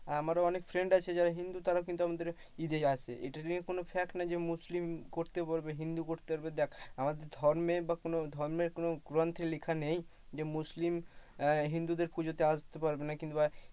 আমার অনেক friend আছে যারা তারা হিন্দু কিন্তু আমাদের ঈদে আসে। এটা নিয়ে কোনো fact নয় যে মুসলিম করতে পারবে হিন্দু করতে পারবে দেখ আমাদের ধর্মে বা কোন ধর্মের কোনো গ্রন্থে লেখা নেই মুসলিম হিন্দুদের পুজোতে আসতে পারবে না কিংবা,